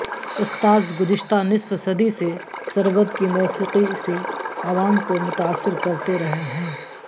استادگزشتہ نصف صدی سی سرود کی موسیقی سےعوام کو متاثر کرتے رہے ہیں